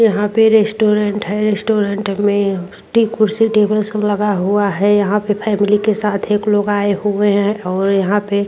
यहाँ पे रेस्टॉरेंट है। रेस्टॉरेंट में टे कुर्सी टेबल सब लगा हुआ है। यहां पे फैमिली के साथ लोग एक लोग आए हुए हैं और यहाँ पे --